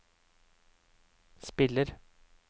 spiller